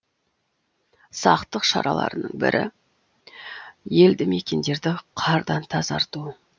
сақтық шараларының бірі елді мекендерді қардан тазарту